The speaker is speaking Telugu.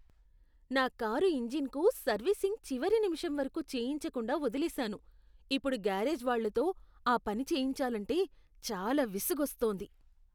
నా కారు ఇంజిన్కు సర్వీసింగ్ చివరి నిమిషం వరకు చేయించకుండా వదిలేసాను, ఇప్పుడు గ్యారేజ్ వాళ్లతో ఆ పని చేయించాలంటే చాలా విసుగొస్తోంది.